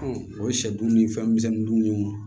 o ye sɛ dun ni fɛn misɛnninw ye o